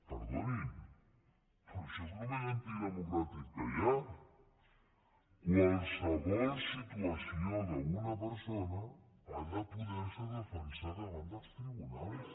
perdonin però això és el més antidemocràtic que hi ha qualsevol situació d’una persona ha de poder se defensar davant dels tribunals